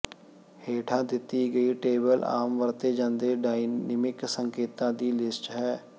ਹੇਠਾਂ ਦਿੱਤੀ ਗਈ ਟੇਬਲ ਆਮ ਵਰਤੇ ਜਾਂਦੇ ਡਾਇਨਾਮਿਕ ਸੰਕੇਤਾਂ ਦੀ ਲਿਸਟ ਹੈ